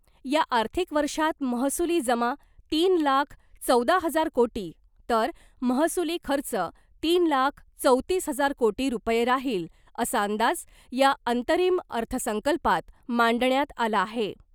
या आर्थिक वर्षात महसूली जमा तीन लाख चौदा हजार कोटी तर महसूली खर्च तीन लाख चौतीस हजार कोटी रुपये राहील , असा अंदाज या अंतरिम अर्थसंकल्पात मांडण्यात आला आहे .